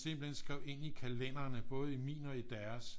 Simpelthen skrev ind i kalenderne både i min og i deres